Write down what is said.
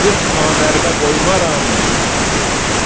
40 namərdə qoymaram dedi.